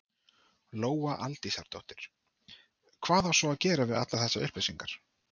Lóa Aldísardóttir: Hvað á svo að gera við allar þessar upplýsingar?